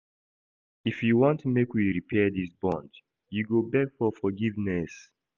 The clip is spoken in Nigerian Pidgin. If you want make we repair dis bond, you go beg for forgiveness.